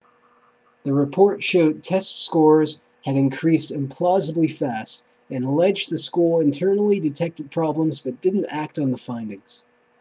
the report showed test scores had increased implausibly fast and alleged the school internally detected problems but didn't act on the findings